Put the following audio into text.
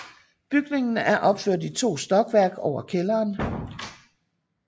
Bygningen er opført i to stokværk over kælderen